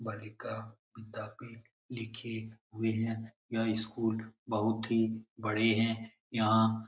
बालिका विद्यापीठ लिखे हुए हैं यह स्कूल बहुत ही बड़े हैं यहां --